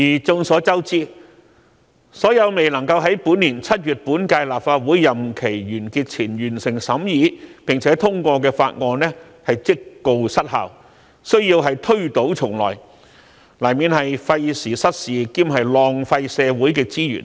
眾所周知，所有未能夠在本年7月本屆立法會任期完結前完成審議並通過的法案，屆時即告失效，需要推倒重來，這樣難免費時失事兼浪費社會資源。